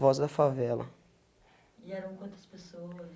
Voz da favela. E eram quantas pessoas?